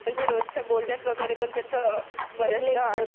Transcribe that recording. म्हणजे रोजच्या बोलण्यात वगैरे पण त्याचा बऱ्याचदा उल्लेख होतो.